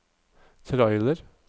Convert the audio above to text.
trailer